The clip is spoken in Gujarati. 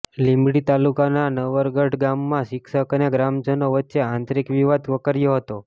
લીંબડી તાલુકાના નટવરગઢ ગામમાં શિક્ષક અને ગ્રામજનો વચ્ચે આંતરીક વિવાદ વકર્યો હતો